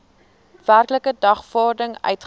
werklike dagvaarding uitgereik